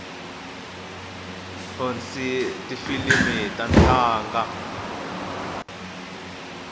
vonsni tifilimi ta tlanga